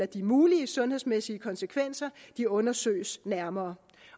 de mulige sundhedsmæssige konsekvenser undersøges nærmere